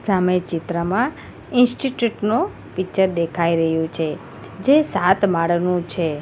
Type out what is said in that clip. સામે ચિત્રમાં ઇન્સ્ટિટયૂટ નો પિક્ચર દેખાઈ રહ્યું છે જે સાત માળનું છે.